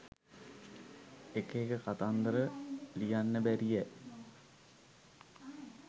එක එක කතන්දර ලියන්න බැරියැ